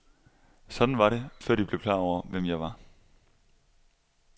Sådan var det, før de blev klar over, hvem jeg var.